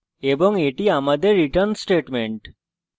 এবং এটি আমাদের return statement